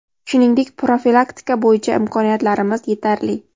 shuningdek profilaktika bo‘yicha imkoniyatlarimiz yetarli.